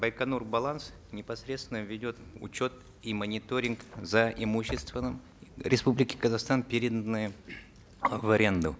байконур баланс непосредственно ведет учет и мониторинг за имущественным республики казахстан переданным в аренду